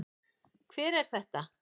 Hver er þetta?